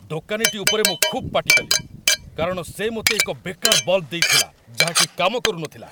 ଦୋକାନୀଟି ଉପରେ ମୁଁ ଖୁବ୍ ପାଟି କଲି, କାରଣ ସେ ମୋତେ ଏକ ବେକାର ବଲ୍‌ବ ଦେଇଥିଲା, ଯାହାକି କାମ କରୁନଥିଲା।